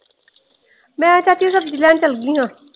ਮੈਂ ਚਾਚੀ ਸਬਜ਼ੀ ਲੈਣ ਚੱਲ ਗਈ ਹਾਂ ।